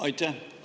Aitäh!